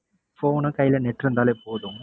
phone உ கையில net இருந்தாலே போதும்.